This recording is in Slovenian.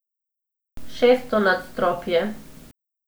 Šesto nadstropje.